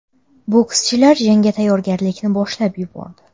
Bokschilar jangga tayyorgarlikni boshlab yubordi.